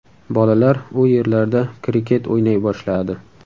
Bolalar u yerlarda kriket o‘ynay boshladi.